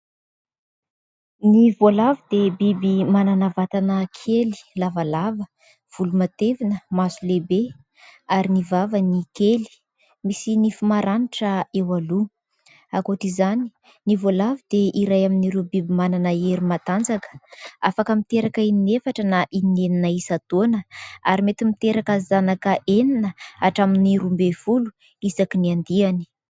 Ny voalavo dia biby manana vatana kely, lavalava, volo matevina, maso lehibe ary ny vavany kely misy nify maranitra eo aloha. Ankoatra izany, ny voalavo dia iray amin'ireo biby manana hery matanjaka afaka miteraka inefatra na inenina isantaona ary mety miteraka zanaka enina hatramin'ny roa ambin'ny folo isaky ny andiany.